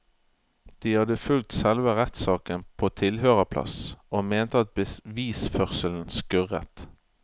De hadde fulgt selve rettssaken på tilhørerplass og mente at bevisførselen skurret.